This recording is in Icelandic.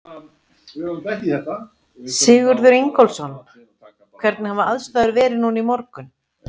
Sigurður Ingólfsson: Hvernig hafa aðstæður verið núna í morgun?